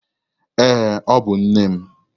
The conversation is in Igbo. Ee, ọ bụ nne m.